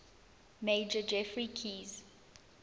major geoffrey keyes